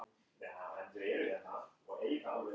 Þetta var ólýsanlega góð tilfinning.